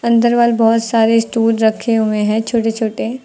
अंदर वाल बहुत सारे स्टूल रखे हुए हैं छोटे छोटे।